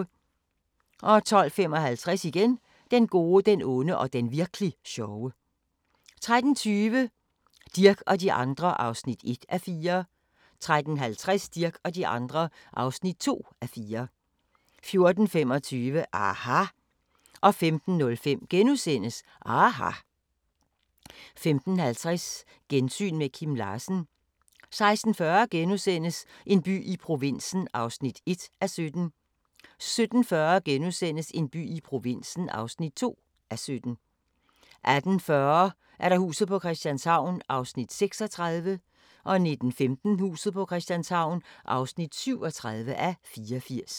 12:55: Den gode, den onde og den virk'li sjove 13:20: Dirch og de andre (1:4) 13:50: Dirch og de andre (2:4) 14:25: aHA! 15:05: aHA! * 15:50: Gensyn med Kim Larsen 16:40: En by i provinsen (1:17)* 17:40: En by i provinsen (2:17)* 18:40: Huset på Christianshavn (36:84) 19:15: Huset på Christianshavn (37:84)